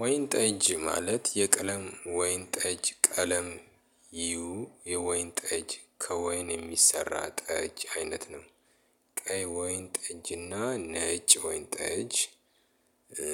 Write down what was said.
ወይን ጠጅ ማለት የቀለም ወይን ጠጅ ቀለም ይዩ የወይን ጠጅ ከወይን የሚሰራ ጠጅ አይነት ነው። ቀይ ወይን ጠጅና ነጭ ወይን ጠጅ እ